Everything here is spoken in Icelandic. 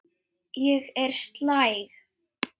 Ég er slæg.